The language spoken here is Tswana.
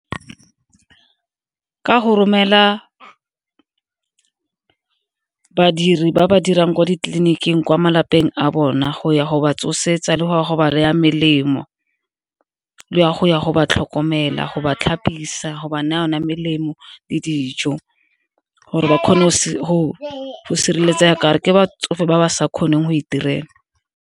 Ka go romela badiri ba ba dirang kwa ditleliniking kwa malapeng a bona go ya go ba tsosetsa le gore go ba naya melemo, le go ya go ba tlhokomela, go ba tlhapisiwa, go ba naya yone melemo le dijo gore ba kgone go sireletsaga ka gore ke batsofe ba ba sa kgoneng go iterela.